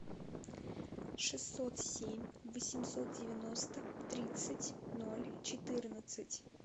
шестьсот семь восемьсот девяносто тридцать ноль четырнадцать